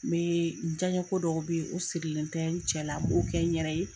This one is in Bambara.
N bee jaɲɛko dɔw be ye o sirilen tɛ cɛ la n b'o kɛ n yɛrɛ ye